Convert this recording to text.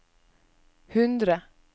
hundre